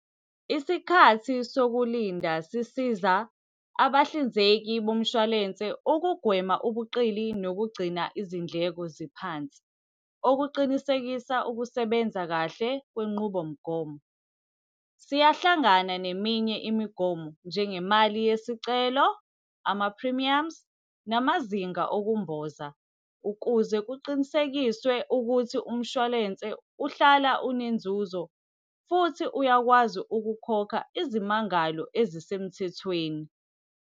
Isikhathi sokulinda sisiza abahlinzeki bomshwalense ukugwema ubuqili nokugcina izindleko ziphansi okuqinisekisa ukusebenza kahle kwenqubomgomo. Siyahlangana neminye imigomo, njengemali yesicelo, ama-premiums, namazinga okumboza, ukuze kuqinisekiswe ukuthi umshwalense uhlala unenzuzo futhi uyakwazi ukukhokha izimangalo ezisemthethweni.